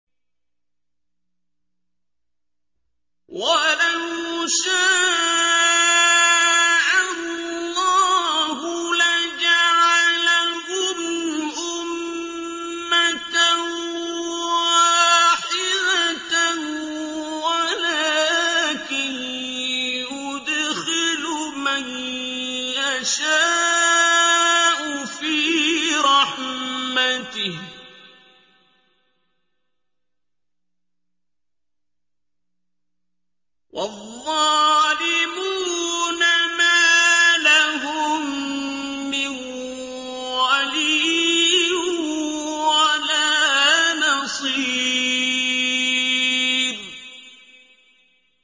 وَلَوْ شَاءَ اللَّهُ لَجَعَلَهُمْ أُمَّةً وَاحِدَةً وَلَٰكِن يُدْخِلُ مَن يَشَاءُ فِي رَحْمَتِهِ ۚ وَالظَّالِمُونَ مَا لَهُم مِّن وَلِيٍّ وَلَا نَصِيرٍ